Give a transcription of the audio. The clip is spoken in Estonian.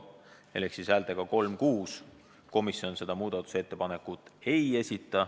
Hääletustulemuse põhjal otsustas komisjon, et seda muudatusettepanekut ei esitata.